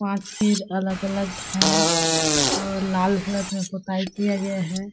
पाँच पेज अलग-अलग है और लाल कलर में पोताई किया गया हैं ।